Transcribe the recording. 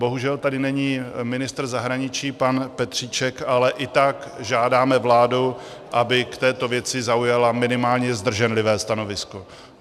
Bohužel tady není ministr zahraničí pan Petříček, ale i tak žádáme vládu, aby k této věci zaujala minimálně zdrženlivé stanovisko.